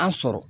An sɔrɔ